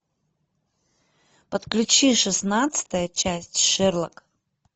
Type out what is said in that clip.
подключи шестнадцатая часть шерлок